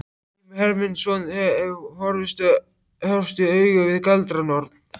Grímur Hermundsson hefur horfst í augu við galdranorn.